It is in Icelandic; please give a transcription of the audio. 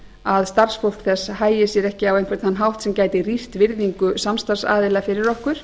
að starfsfólk þess hagi sér ekki á einhvern þann hátt sem gæti rýrt virðingu samstarfsaðila fyrir okkur